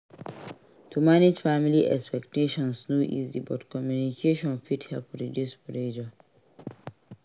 To manage family expectations no easy but communication fit help reduce pressure.